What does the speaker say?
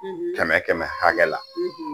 Kɛmɛ kɛmɛ hakɛla